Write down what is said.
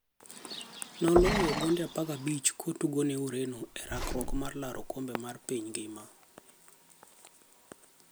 Noloyo gonde 15 kotugone Ureno e rakruok mar laro okombe mar piny ngima.